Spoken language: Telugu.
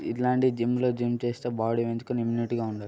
ఇట్లాంటి జిమ్ లో జిమ్ చేస్తే బాడీ పెంచుకొని ఇమ్యూనిటీ గా ఉండొచ్చు.